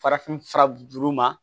Farafin fura juru ma